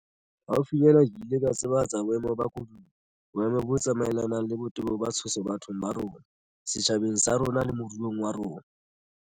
Haufinyana ke ile ka tsebahatsa boemo ba koduwa, boemo bo tsamaelanang le botebo ba tshoso bathong ba bo rona, setjhabeng sa rona le moruong wa rona.